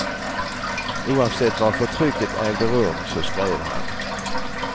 Oavsett var förtrycket ägde rum så skrev han.